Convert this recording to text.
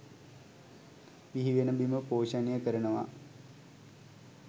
බිහිවෙන බිම පෝෂණය කරනවා